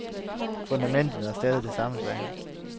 Fundamentet er stadig det samme, sagde han.